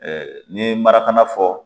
n'i ye marakana fɔ